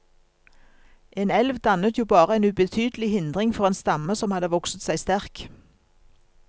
En elv dannet jo bare en ubetydelig hindring for en stamme som hadde vokset seg sterk.